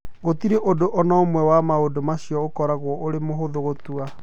Gũtirĩ ũndũ o na ũmwe wa maũndũ macio ũkoragwo ũrĩ mũhũthũ gũtua.